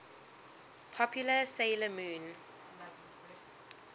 popular 'sailor moon